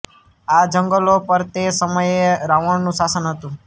આ જંગલો પર તે સમયે રાવણનું શાસન હતું